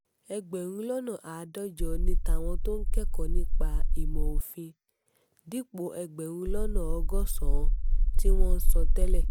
ẹgbẹ̀rún lọ́nà àádọ́jọ ni tàwọn tó ń kẹ́kọ̀ọ́ nípa ìmọ̀-òfin dípò ẹgbẹ̀rún lọ́nà ọgọ́sàn-án tí wọ́n ń san tẹ́lẹ̀